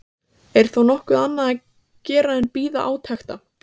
MATTHÍAS: Er þá nokkuð annað að gera en bíða átekta.